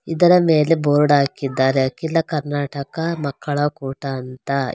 ಇದರ ಮೇಲೆ ಬೋರ್ಡ್ ಹಾಕಿದ್ದಾರೆ ಅಖಿಲ ಕರ್ನಾಟಕ ಮಕ್ಕಳ ಕೂಟ ಅಂತ.